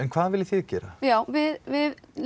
hvað viljið þið gera já við við